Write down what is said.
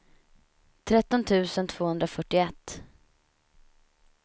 tretton tusen tvåhundrafyrtioett